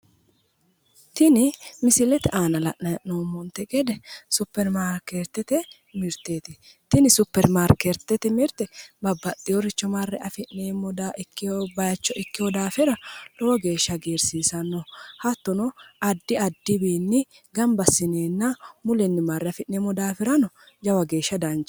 Tini misilete aana la'nayi hee'noommonte gede supperimaarkeettete mirteeti. Tini supperimaarkeettete mirte babbaxxiworicho marre afi'neemmo bayicho ikkiwo daafira lowo geeshsha hagiirsiisanno. Hattono addi addi wiichinni gamba assineenna mulenni marre afi'neemmo daafo jawa geeshsha danchaho.